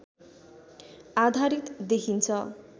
आधारित देखिन्छ